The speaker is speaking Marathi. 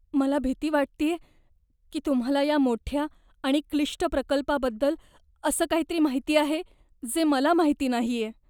मला भीती वाटतेय की तुम्हाला या मोठ्या आणि क्लिष्ट प्रकल्पाबद्दल असं काहीतरी माहित आहे, जे मला माहित नाहीये.